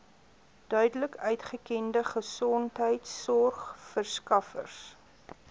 duidelik uitgekende gesondheidsorgverskaffers